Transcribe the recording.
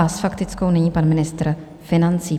A s faktickou nyní pan ministr financí.